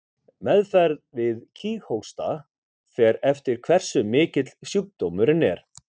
Meðferð við kíghósta fer eftir hversu mikill sjúkdómurinn er.